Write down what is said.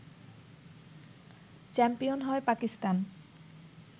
champion হয় পাকিস্তান